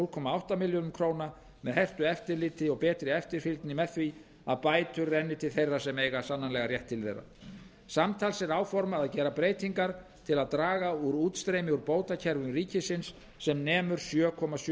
núll komma átta milljörðum króna með hertu eftirliti og betri eftirfylgni með því að bætur renni til þeirra sem eiga sannanlega rétt til þeirra samtals er áformað að gera breytingar til að draga úr útstreymi úr bótakerfum ríkisins sem nemur um sjö komma sjö